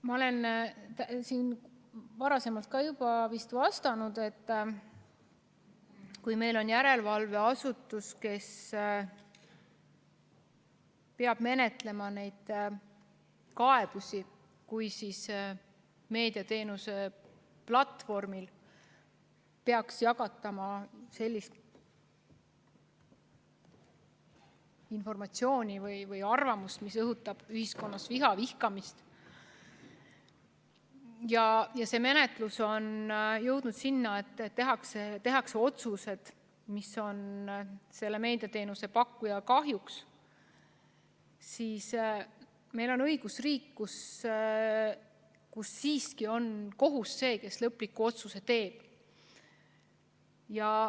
Ma olen siin ka varem vist juba vastanud, et kui meil on järelevalveasutus, kes peab menetlema kaebusi selle kohta, et mõnel meediateenuse platvormil jagatakse sellist informatsiooni või arvamust, mis õhutab ühiskonnas viha, vihkamist, ja see menetlus jõuab sinnamaale, et tehakse otsused, mis on meediateenuse pakkuja kahjuks, siis meil kui õigusriigis on siiski kohus see, kes lõpliku otsuse teeb.